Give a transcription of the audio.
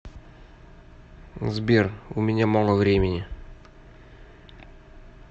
сбер у меня мало времени